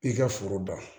I ka foro da